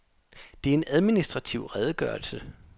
Det er en administrativ redegørelse.